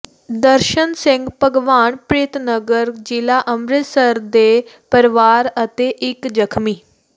ਦਰਸ਼ਨ ਸਿੰਘ ਭਗਵਾਨਪ੍ਰੀਤ ਨਗਰ ਜ਼ਿਲ੍ਹਾ ਅੰਮ੍ਰਿਤਸਰ ਦੇ ਪਰਿਵਾਰ ਅਤੇ ਇੱਕ ਜ਼ਖਮੀ ਸ